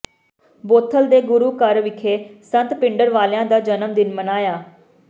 Bothell ਦੇ ਗੁਰੂ ਘਰ ਵਿਖੇ ਸੰਤ ਭਿਡਰਾਂਵਾਲਿਆਂ ਦਾ ਜਨਮ ਦਿਨ ਮਨਾਇਆ